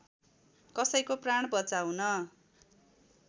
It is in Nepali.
कसैको प्राण बचाउन